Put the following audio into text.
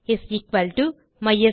is equal to mysql